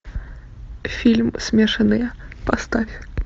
фильм смешанные поставь